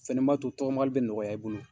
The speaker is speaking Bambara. fɛnɛ b'a to tɔgɔmali bɛ nɔgɔya i bolo.